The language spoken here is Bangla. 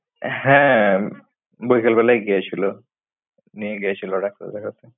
হ্যাঁ বৈকাল বেলায় গিয়েছিল, নিয়ে গেছিল ডাক্তার দেখাতে।